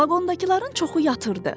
Vaqondakıların çoxu yatırdı.